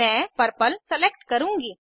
मैं purple select करुँगी